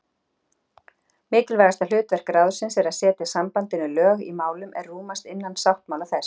Mikilvægasta hlutverk ráðsins er að setja sambandinu lög í málum er rúmast innan sáttmála þess.